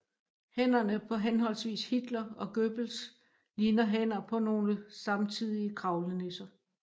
Hænderne på henholdsvis Hitler og Goebbels ligner hænder på nogle samtidige kravlenisser